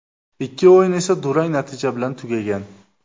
Ikki o‘yin esa durang natija bilan tugagan.